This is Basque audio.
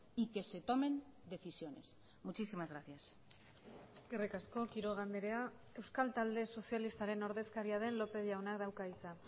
y que se tomen decisiones muchísimas gracias eskerrik asko quiroga andrea euskal talde sozialistaren ordezkaria den lópez jaunak dauka hitza